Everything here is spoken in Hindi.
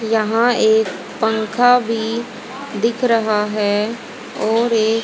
यहां एक पंखा भी दिख रहा है और एक--